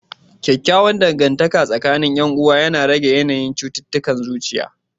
Kyakkyawan dangantaka tsakanin 'yan uwa yana rage yanayin cututtukan zuciya.